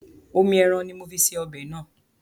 Omi ẹran ní mo fi ṣe ọbẹ̀ náà.